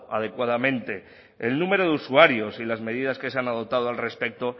adecuadamente el número de usuarios y las medidas que se han adoptado al respecto